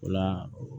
O la